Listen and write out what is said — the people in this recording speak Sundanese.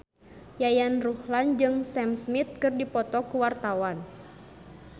Yayan Ruhlan jeung Sam Smith keur dipoto ku wartawan